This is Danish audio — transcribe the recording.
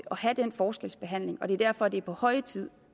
have den forskelsbehandling og det er derfor at det er på høje tid